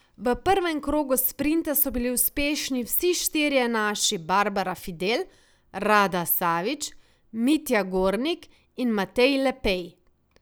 V prvem krogu sprinta so bili uspešni vsi štirje naši Barbara Fidel, Rada Savič, Mitja Gornik in Matej Lepej.